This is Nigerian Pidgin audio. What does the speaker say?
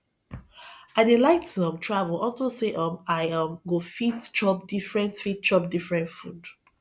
i dey like to um travel unto say um i um go fit chop different fit chop different food